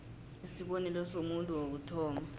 isibonelo somuntu wokuthoma